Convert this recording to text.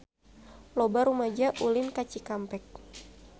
Loba rumaja ulin ka Cikampek